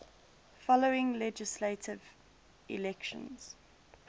following legislative elections